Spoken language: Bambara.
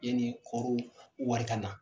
Yanni kɔɔri wari ka na.